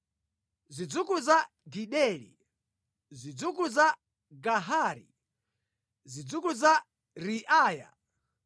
zidzukulu za Gideli, zidzukulu za Gahari, zidzukulu za Reaya,